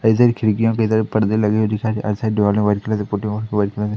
इधर खिड़कियों के इधर पर्दे लगे हुए दिखाई दे रहे और इस साइड दीवार में व्हाइट कलर के